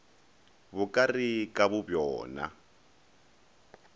bo ka re ka bobjona